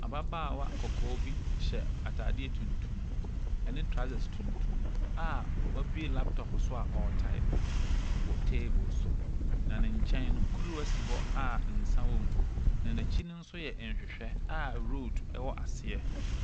Ababaawa kɔkɔɔ bi hyɛ atadeɛ tuntum ne trousers tuntum a wabue laptob so a ɔretaepe wɔ table so, na ne nkyɛn no, kuruwa si hɔ a nsa wɔ mu, na n'akyi no nso yɛ nhwehwɛ a road wɔ aseɛ.